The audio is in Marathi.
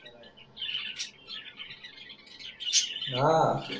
आह